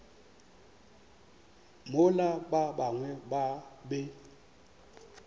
mola ba bangwe ba be